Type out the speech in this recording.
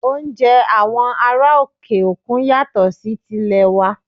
Oúnjẹ àwọn ará òkè òkun yàtọ̀ sí ti ilè wa